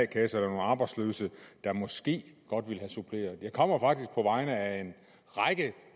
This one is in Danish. kasser eller nogle arbejdsløse der måske godt ville have det suppleret jeg kommer faktisk på vegne af en række